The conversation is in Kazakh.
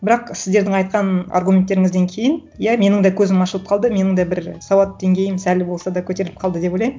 бірақ сіздердің айтқан аргументтеріңізден кейін иә менің да көзім ашылып қалды менің да бір сауат деңгейім сәл болса да көтеріліп қалды деп ойлаймын